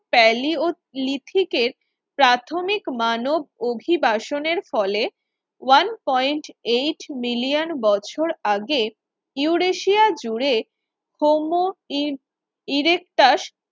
টেলিয়লিথিকে প্রাথমিক মানব অভিবাসনের ফলে ওয়ান পয়েন্ট এইট মিলিয়ন বছর আগে ইউরেশিয়া জুড়ে হৌম ইরেকটাস